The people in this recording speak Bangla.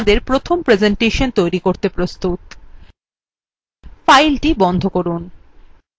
এখন আমরা আমাদের প্রথম প্রেসেন্টেশন তৈরী করতে প্রস্তুত file বন্ধ করুন